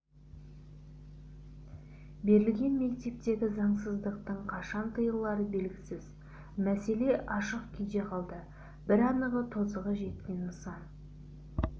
берілген мектептегі заңсыздықтың қашан тыйылары белгісіз мәселе ашық күйде қалды бір анығы тозығы жеткен нысан